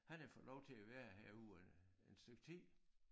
Han har fået lov til at være herude øh en stykke tid